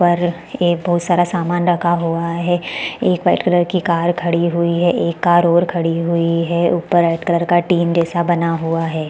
पर यह बहोत सारा सामान रखा हुआ है एक वाइट कलर की कार खड़ी हुई है एक कार और खड़ी हुई है ऊपर रेड कलर का टिन जैसा बना हुआ हैं ।